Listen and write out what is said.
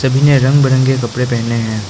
सभी ने रंग बिरंगे कपड़े पहने हैं।